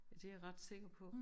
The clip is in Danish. Ja det jeg ret sikker på